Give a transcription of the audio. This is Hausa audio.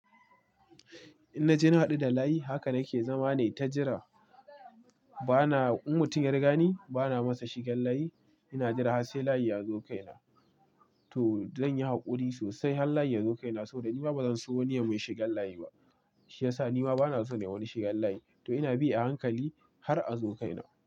Inna je na haɗu da layi haka nake zama nai ta jira. Bana, in mutum ya rigani bana masa shigen layi. Ina jira har sai layi ya zo kaina. To zan yi haƙuri sosai har layi ya zo kaina saboda nima bazan so wani yai mun shigan layi ba. Shi yasa nima bana son nai wa wani shigan layi. To ina bi a hankali har azo kaina.